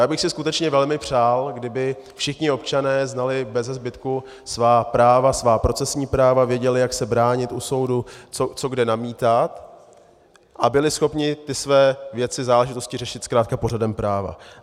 Já bych si skutečně velmi přál, kdyby všichni občané znali beze zbytku svá práva, svá procesní práva, věděli, jak se bránit u soudu, co kde namítat, a byli schopni ty své věci, záležitosti řešit zkrátka pořadem práva.